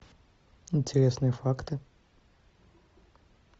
интересные факты